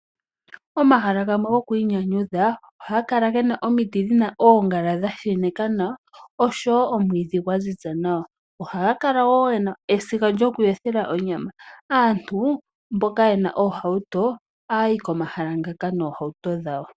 Omahala gamwe gokwiinyanyudha ohaga kala ge na omiti dhi na oongala dha sheneka nawa osho woo omwiidhi dha ziza nawa ohaya kala woo ye na esiga lyokuyothela onyama. Aantu mboka ye na oohauto ohaya yi komahala ngaaka noohauto dhawo.